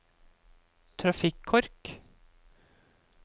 trafikkork